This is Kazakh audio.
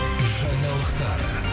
жаңалықтар